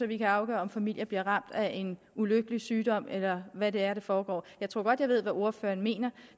vi kan afgøre om familier bliver ramt af en ulykkelig sygdom eller hvad det er der foregår jeg tror godt jeg ved hvad ordføreren mener